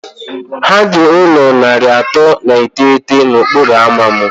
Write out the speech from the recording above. Ha dị ụlọ narị atọ na iteghete na okporo ámá m